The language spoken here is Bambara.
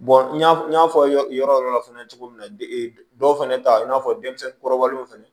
n y'a n y'a fɔ yɔrɔ yɔrɔ fana cogo min na dɔw fɛnɛ ta in n'a fɔ denmisɛnnin kɔrɔbalenw fɛnɛ